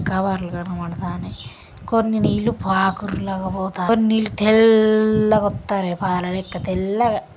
Cover లు కనపడతన్నాయ్. కొన్ని నీళ్లు పాకుర్ల లాగా కొన్ని నీళ్లయితే తెల్లగా వత్తన్నాయ్. పాల లెక్క తెల్లగా.